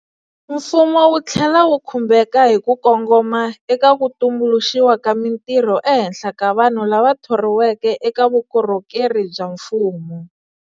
Mfumo wu tlhela wu khumbeka hi ku kongoma eka ku tumbuluxiwa ka mintirho ehenhla ka vanhu lava thoriweke eka vukorho keri bya mfumo.